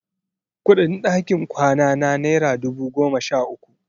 Kuɗin ɗakin kwanana naira dubu goma sha uku.